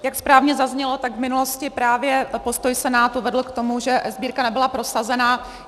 Jak správně zaznělo, tak v minulosti právě postoj Senátu vedl k tomu, že eSbírka nebyla prosazena.